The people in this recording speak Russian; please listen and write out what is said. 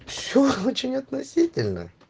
все очень относительно